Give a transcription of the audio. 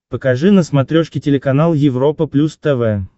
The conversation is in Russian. покажи на смотрешке телеканал европа плюс тв